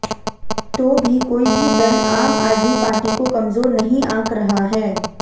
तो भी कोई भी दल आम आदमी पार्टी को कमजोर नहीं आंक रहा है